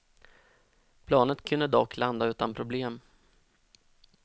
Planet kunde dock landa utan problem.